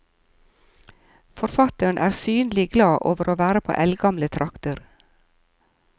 Forfatteren er synlig glad over å være på eldgamle trakter.